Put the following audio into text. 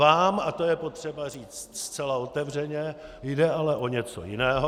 Vám, a to je potřeba říct zcela otevřeně, jde ale o něco jiného.